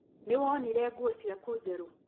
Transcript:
Nĩwonire nguo ciaku njerũ?